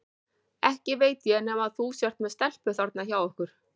Ekki veit ég nema þú sért með stelpu þarna hjá ykkur.